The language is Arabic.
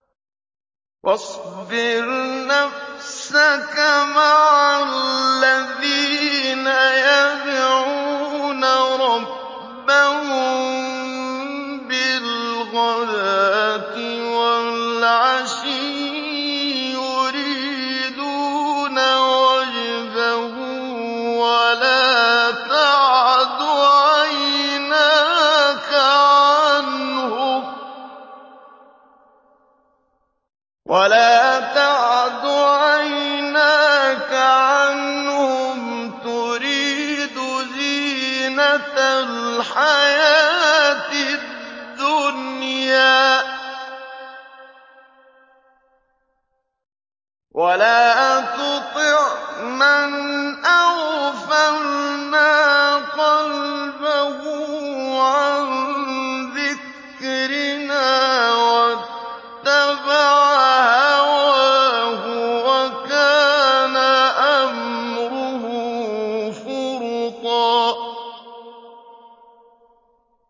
وَاصْبِرْ نَفْسَكَ مَعَ الَّذِينَ يَدْعُونَ رَبَّهُم بِالْغَدَاةِ وَالْعَشِيِّ يُرِيدُونَ وَجْهَهُ ۖ وَلَا تَعْدُ عَيْنَاكَ عَنْهُمْ تُرِيدُ زِينَةَ الْحَيَاةِ الدُّنْيَا ۖ وَلَا تُطِعْ مَنْ أَغْفَلْنَا قَلْبَهُ عَن ذِكْرِنَا وَاتَّبَعَ هَوَاهُ وَكَانَ أَمْرُهُ فُرُطًا